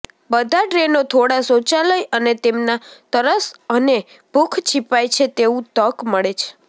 બધા ટ્રેનો થોડા શૌચાલય અને તેમના તરસ અને ભૂખ છીપાય છે તેવું તક મળે છે